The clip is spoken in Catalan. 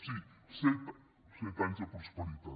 sí set anys de prosperitat